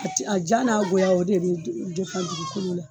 A te a ja n'a goya o de be depan dugukɔlo la